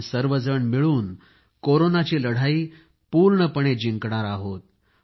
आपण सर्वजण मिळून कोरोनाची लढाई पूर्णपणे जिंकणार आहे